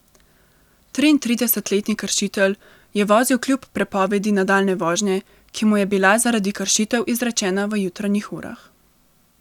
Triintridesetletni kršitelj je vozil kljub prepovedi nadaljnje vožnje, ki mu je bila zaradi kršitev izrečena v jutranjih urah.